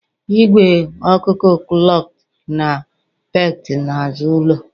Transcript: Ìgwè ọkụkọ clucked na pecked n'azụ ụlọ.